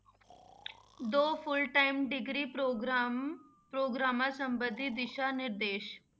ਦੋ full time degree programme ਪ੍ਰੋਗਰਾਮਾਂ ਸੰਬੰਧੀ ਦਿਸ਼ਾ ਨਿਰਦੇਸ਼।